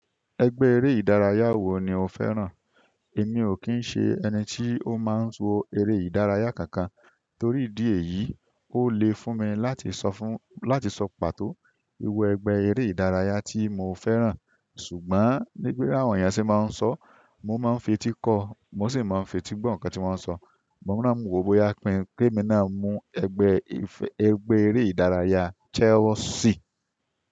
Ẹgbẹ́ eré ìdárayá wo ni o fẹ́ràn? Èmi ò kí ń ṣe ẹni tí ó máa ń wo eré ìdárayá kankan, torí ìdí èyí, ó lè fún mi láti sọ fún, láti sọ pàtó irú ẹgbẹ́ eré ìdárayá tí mo fẹ́ràn. Ṣùgbọ́n nígb bí àwọn èèyàn ṣe máa ń sọọ́, mò ń máa ń fetí kọ́ọ, mó sì máa ń fetí gbọ́ ǹkan tí wọ́n ń sọ. Mo mọ̀ náà mo wò ó bóyá pín-in ké mí náà mú ẹgbẹ́ẹ, ẹgbẹ́ eré ìdárayá Chelsea.